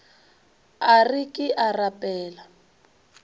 a re ke a rapela